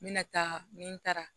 N bɛna taa ni n taara